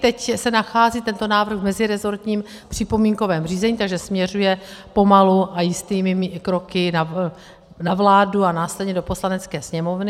Teď se nachází tento návrh v meziresortním připomínkovém řízení, takže směřuje pomalu a jistými kroky na vládu a následně do Poslanecké sněmovny.